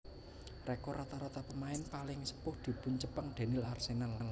Rekor rata rata pemain paling sepuh dipuncepeng déning Arsenal